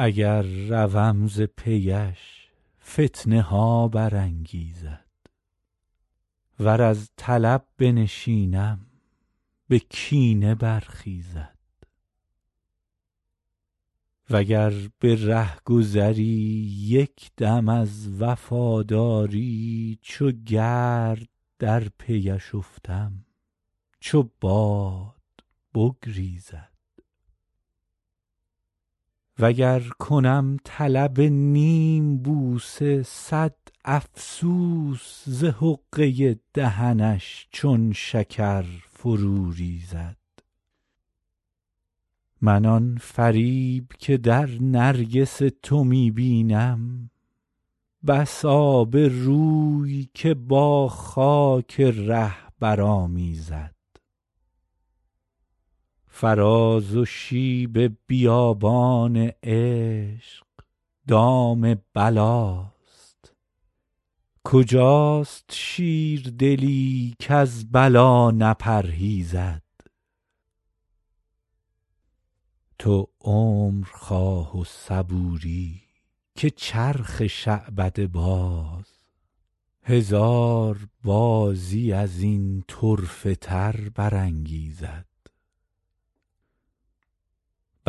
اگر روم ز پی اش فتنه ها برانگیزد ور از طلب بنشینم به کینه برخیزد و گر به رهگذری یک دم از وفاداری چو گرد در پی اش افتم چو باد بگریزد و گر کنم طلب نیم بوسه صد افسوس ز حقه دهنش چون شکر فرو ریزد من آن فریب که در نرگس تو می بینم بس آبروی که با خاک ره برآمیزد فراز و شیب بیابان عشق دام بلاست کجاست شیردلی کز بلا نپرهیزد تو عمر خواه و صبوری که چرخ شعبده باز هزار بازی از این طرفه تر